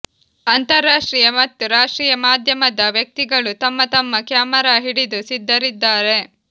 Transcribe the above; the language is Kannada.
ಅಂತರ್ರಾಷ್ಟ್ರೀಯ ಮತ್ತು ರಾಷ್ಟ್ರೀಯ ಮಾಧ್ಯಮದ ವ್ಯಕ್ತಿಗಳು ತಮ್ಮ ತಮ್ಮ ಕ್ಯಾಮರಾ ಹಿಡಿದು ಸಿದ್ಧರಿದ್ದಾರೆ